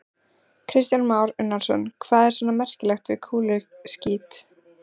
Kristján Már Unnarsson: Hvað er svona merkilegt við kúluskít?